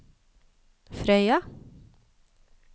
Frøya